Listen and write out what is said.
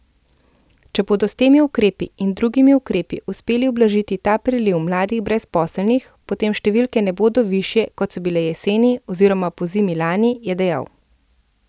Če bodo s temi ukrepi in drugimi ukrepi uspeli ublažiti ta priliv mladih brezposelnih, potem številke ne bodo višje, kot so bile jeseni oziroma pozimi lani, je dejal.